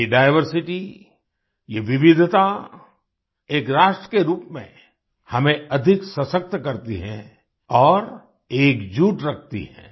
ये डाइवर्सिटी ये विविधता एक राष्ट्र के रूप में हमें अधिक सशक्त करती है और एकजुट रखती है